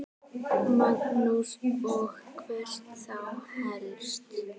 Magnús: Og hvert þá helst?